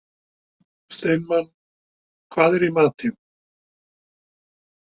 Steinmann, hvað er í matinn?